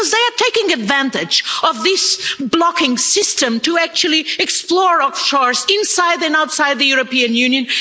Because they are taking advantage of this blocking system to actually exploit offshores, inside and outside the European Union.